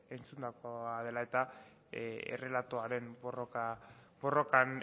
entzundakoa dela eta errelatoaren borrokan